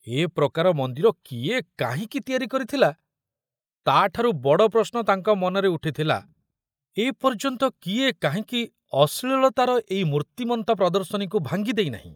ଏ ପ୍ରକାର ମନ୍ଦିର କିଏ କାହିଁକି ତିଆରି କରିଥିଲା, ତାଠାରୁ ବଡ଼ ପ୍ରଶ୍ନ ତାଙ୍କ ମନରେ ଉଠିଥିଲା, ଏ ପର୍ଯ୍ୟନ୍ତ କିଏ କାହିଁକି ଅଶ୍ଳୀଳତାର ଏଇ ମୂର୍ତ୍ତିମନ୍ତ ପ୍ରଦର୍ଶନୀକୁ ଭାଙ୍ଗି ଦେଇନାହିଁ!